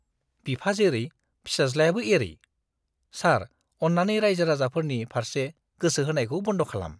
बिफा जेरै, फिसाज्लायाबो एरै। सार, अन्नानै रायजो राजाफोरनि फार्से गोसो होनायखौ बन्द' खालाम।